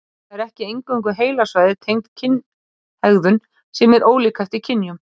Það eru ekki eingöngu heilasvæði tengd kynhegðun sem eru ólík eftir kynjum.